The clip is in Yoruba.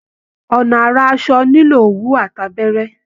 Ọnà ara asọ nílò òwú àti abẹ́rẹ́